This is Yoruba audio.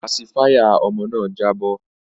Pasifáyà ọmọ náà jábọ́